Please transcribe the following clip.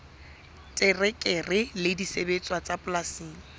terekere le disebediswa tsa polasing